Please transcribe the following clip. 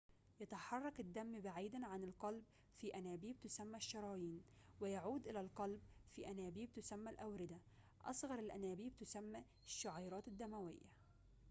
يتحرك الدم بعيداً عن القلب في أنابيب تسمى الشرايين ويعود إلى القلب في أنابيب تسمى الأوردة أصغر الأنابيب تسمى الشعيرات الدموية